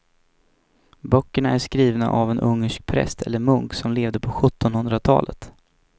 Böckerna är skrivna av en ungersk präst eller munk som levde på sjuttonhundratalet.